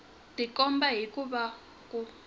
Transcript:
tikomba hi ku va ku